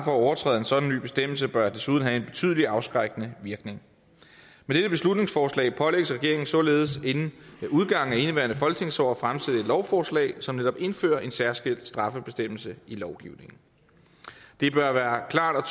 at overtræde en sådan ny bestemmelse bør desuden have en betydelig afskrækkende virkning med dette beslutningsforslag pålægges regeringen således inden udgangen af indeværende folketingsår at fremsætte et lovforslag som netop indfører en særskilt straffebestemmelse i lovgivningen det bør være klart og